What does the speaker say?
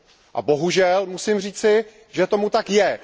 A bohužel musím říci, že tomu tak je.